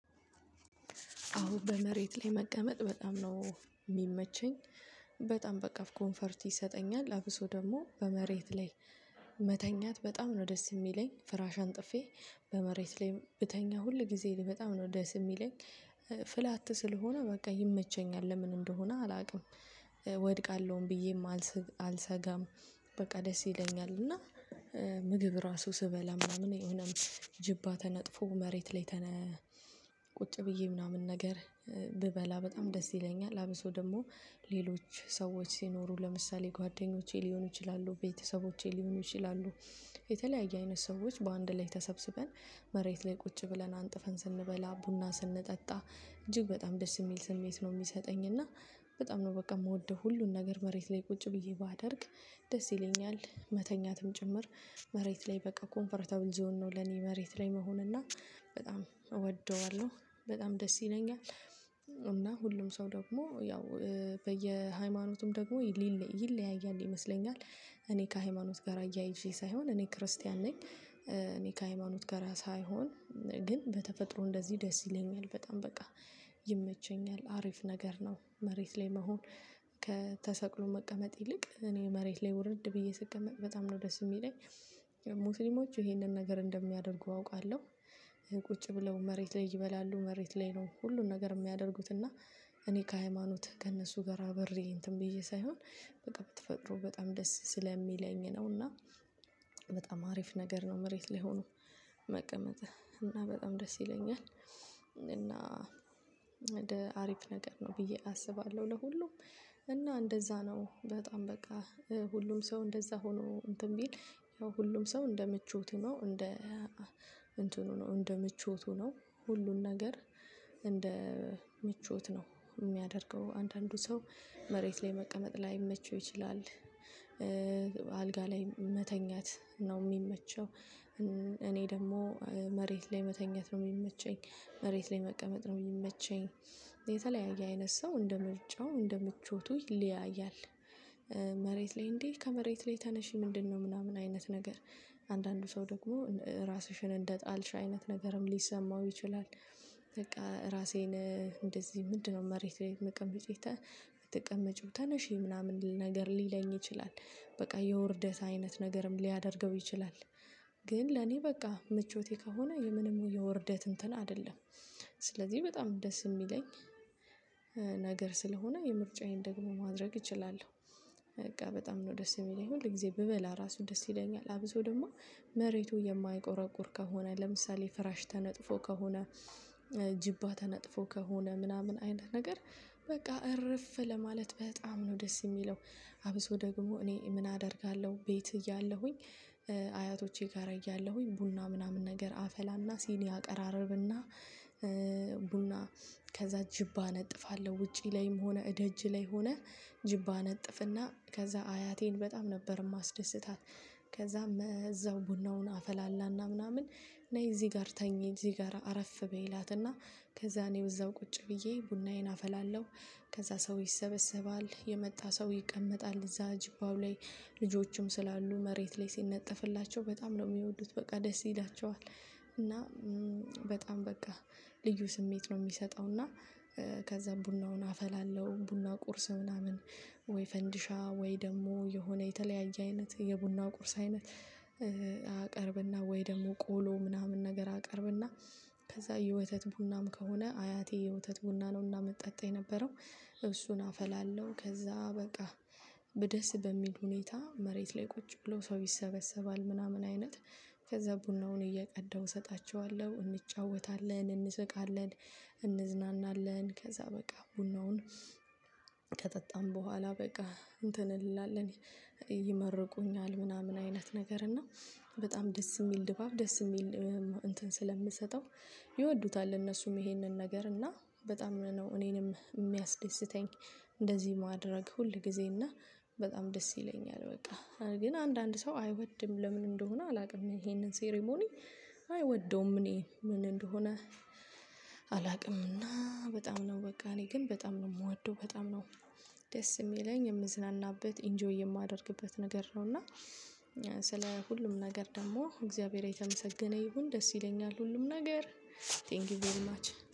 አዎ በመሬት ለይ መቀመጥ በጣም ነው ሚመቸኝ። በጣም በቃ ኮንፈርት ይሰጠኛል አብሶ ደሞ በመሬት ለይ። መተኛት በጣም ነው ደስ ሚለኝ ፍራሽ አንጥፌ በመሬት ለይ ብተኛ ሁል ጊዜ በጣም ነው ደስ ሚለኝ። ፍላት ስለሆነ በቃ ይመቸኛል ለምን እንደሆነ አላቅም ወድቃለውም ብዬ አልሰጋም። በቃ ደስ ይለኛል እና ምግብ ራሱ ስበላ ምናምን የሆነም ጅባ ተነጥፎ መሬት ላይ ተነ ቁጭ ብዬ ምናምን ነገር ብበላ በጣም ደስ ይለኛል። አብሶ ደሞ ሌሎች ሰዎች ሲኖሩ ለምሳሌ ጓደኞቼ ሊሆኑ ይችላሉ ቤተሰቦቼ ሊሆኑ ይችላሉ። የተለያየ አይነት ሰዎች በአንድ ላይ ተሰብስበን መሬት ላይ ቁጭ ብለን አንጥፈን ስንበላ ቡና ስንጠጣ እጅግ በጣም ደስ ሚል ስሜት ነው ሚሰጠኝ። እና በጣም ነው በቃ ምወደው ሁሉን ነገር መሬት ላይ ቁጭ ብዬ ባደርግ ደስ ይለኛል። መተኛትም ጭምር መሬት ላይ በቃ ኮምፈረተብል ዞን ነው። ለኔ መሬት ላይ መሆን እና በጣም እወደዋለው በጣም ደስ ይለኛል። እና ሁሉም ሰው ደሞ ያው በየሃይማኖቱም ደግሞ ይለያያል ይመስለኛል። እኔ ከሃይማኖት ጋራ አያይዤ ሳይሆን እኔ ክርስቲያን ነኝ እኔ ከሃይማኖት ጋራ ሳይሆን ግን በተፈጥሮ እንደዚ ደስ ይለኛል በጣም በቃ። ይመቸኛል አሪፍ ነገር ነው መሬት ላይ መሆን ከተሰቅሎ መቀመጥ ይልቅ እኔ መሬት ላይ ውርድ ብዬ ስቀመጥ በጣም ነው ደስ ሚለኝ። ሙስሊሞች ይሄንን ነገር እንደሚያደርጉ አውቃለው። ቁጭ ብለው መሬት ላይ ይበላሉ መሬት ላይ ነው ሁሉን ነገር የሚያደርጉት እና እኔ ከሃይማኖትህ ከእነሱ ጋራ አብሬ እንትን ብዬ ሳይሆን በቃ ብትፈቅዱ በጣም ደስ ስለሚለኝ ነውና። በጣም አሪፍ ነገር ነው መሬት ላይ ሆኖ መቀመጥህ እና በጣም ደስ ይለኛል። እና አሪፍ ነገር ነው ብዬ አስባለው ለሁሉም። እና እንደዛ ነው በጣም በቃ ሁሉም ሰው እንደዛ ሆኖ እንትን ቢል ያው ሁሉም ሰው እንደ ምቾቱ ነው እንደ እንትኑ ነው እንደ ምቾቱ ነው ሁሉን ነገር እንደ ምቾት ነው ሚያደርገው አንዳንዱ ሰው መሬት ላይ መቀመጥ ላይመቸው ይችላል። አልጋ ላይ መተኛት ነው ሚመቸው። እኔ ደግሞ መሬት ላይ መተኛት ነው ሚመቸኝ መሬት ላይ መቀመጥ ነው ሚመቸኝ የተለያየ አይነት ሰው እንደምርጫው እንደምቾቱ ይለያያል። መሬት ላይ እንዴ ከመሬት ላይ ተነሺ ምንድነው ምናምን አይነት ነገር አንዳንዱ ሰው ደግሞ ራስሽን እንደጣልሽ አይነት ነገርም ሊሰማው ይችላል። በቃ ራሴን እንደዚህምንድነው መሬት ለይ አትቀመጪም ተነሺ ምናምን ልል ነገር ሊለኝ ይችላል። በቃ የውርደት አይነት ነገርም ሊያደርገው ይችላል። ግን ለኔ በቃ ምቾቴ ከሆነ የምንም የውርደት እንትን አደለም። ስለዚ በጣም ደስ ሚለኝ ነገር ስለሆነ የምርጫዬን ደግሞ ማድረግ እችላለው። በቃ በጣም ነው ደስ የሚለኝ ሁል ጊዜ ብበላ ራሱ ደስ ይለኛል አብሶ ደግሞ መሬቱ የማይቆረቁር ከሆነ ለምሳሌ ፍራሽ ተነጥፎ ከሆነ ጅባ ተነጥፎ ከሆነ ምናምን አይነት ነገር በቃ እርፍ ለማለት በጣም ነው ደስ የሚለው። አብሶ ደግሞ እኔ ምን አደርጋለው ቤት እያለሁኝ። አያቶቼ ጋራ እያለሁኝ ቡና ምናምን ነገር አፈላና ሲኒ አቀራርብና ቡና ከዛ ጅባ እነጥፋለው ውጪ ላይም ሆነ እደጅ ላይ ሆነ ጅብ አነጥፍና ከዛ አያቴን በጣም ነበር ማስደስታት። ከዛም እዛው ቡናውን አፈላላና ምናምን ነይ እዚ ጋር ተኝ እዚ ጋር አረፍ በይ እላትና። ከዛ እኔው እዛው ቁጭ ብዬ ቡናዬን አፈላለው። ከዛ ሰው ይሰበሰባል የመጣ ሰው ይቀመጣል እዛ ጅባው ላይ። ልጆችም ስላሉ መሬት ላይ ሲነጠፍላቸው በጣም ነው ሚወዱት በቃ ደስ ይላቸዋል። እና በጣም በቃ ልዩ ስሜት ነው ሚሰጠው። እና ከዛም ቡናውን አፈላለው ቡና ቁርስ ምናምን ወይ ፈንዲሻ ወይ ደግሞ የሆነ የተለያየ አይነት የቡና ቁርስ አይነት ወይ ደሞ ቆሎ ምናምን ነገር አቀርብና። ከዛ የወተት ቡናም ከሆነ አያቴ የውተት ቡና ነውና ምጠጣ የነበረው። እሱን አፈላለው ከዛ በቃ በደስ በሚል ሁኔታ መሬት ላይ ቁጭ ብሎ ሰው ይሰበሰባል ምናምን አይነት ከዛ ቡናውን እየቀዳው እሰጣቸዋለው እንጫወታለን እንስቃለን። እንዝናናለን ከዛ በቃ ቡናውን ከጠጣን በኋላ በቃ እንትን እንላለን። ይመርቁኛል ምናምን አይነት ነገር እና በጣም ደስ ሚል ድባብ ደስ ሚል እንትን ስለምሰጠው። ይወዱታል እነሱም ይሄንን ነገር እና በጣም ነው እኔንም ሚያስደስተኝ። እንደዚ ማድረግ ሁል ጊዜ እና በጣም ደስ ይለኛል። በቃ ግን አንዳንድ ሰው አይወድም ለምን እንደሆነ አላቅም ይሄንን ሴሪሞኒ። አይወደውም እኔ ምን እንደሆነ። አላቅምና በጣም ነው በቃ እኔ ግን በጣም ነው ምወደው በጣም ነው። ደስ ሚለኝ የምዝናናበት ኢንጆይ የማደርግበት ነገር ነው። እና ስለ ሁሉም ነገር ደግሞ እግዚአብሔር የተመሰገነ ይሁን ደስ ይለኛል ሁሉም ነገር። ቴንኪው ቬሪማች